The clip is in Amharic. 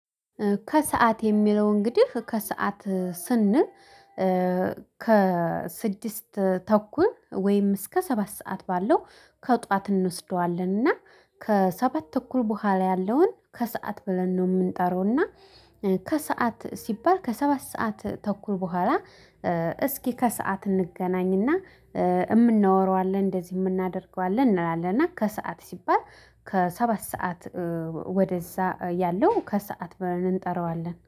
ከሰአት የሚለው እንግዲህ ከሰአት ስንል። ከስድስት ተኩል ወይም እስከ ሰባት ሰዓት ባለው ከጧት እንወስደዋለን እና ከሰባት ተኩል በኋላ ያለውን ከሰአት ብለን ነው የምንጠራውና። ከሰአት ሲባል ከሰባት ሰዓት ተኩል በኋላ። እስኪ ከሰአት እንገናኝና የምናወራው አለ እንደዚህ የምናደርገው አለ እንላለን። እና ከሰአት ሲባል ከሰባት ሰዓት ወደዛ ያለው ከሰአት ብለን እንጠራዋለን